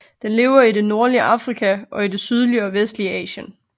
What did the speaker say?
Den lever i det nordlige Afrika og i det sydlige og vestlige Asien